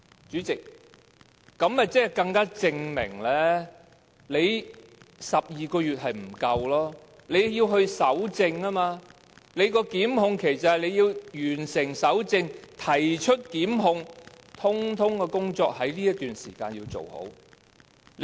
主席，其實這樣便更加證明12個月的期限是不足夠的，因為須進行搜證，而所謂的檢控期是包括完成搜證和提出檢控，所有工作也要在這段時間內做好。